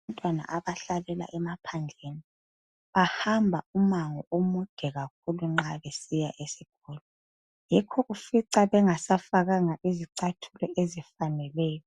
Abantwana abahlalela emaphandleni bahamba umango omude kakhulu nxa besiya esikolo yikho ufica bengasafakanga zicathulo ezifaneleyo